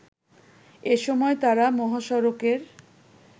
এ সময় তারা মহাসড়কের